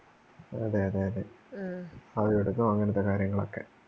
അതേഅതേയതേ ആവിപിടുതോം അങ്ങനത്തെ കാര്യങ്ങളൊക്കെ